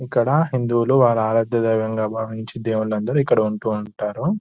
ఇక్కడ హిందువులు వాళ్ళ ఆరాధ దైవముగా భావించి దేవుళ్లు అందరు ఇక్కడ ఉంటూవుంటారు.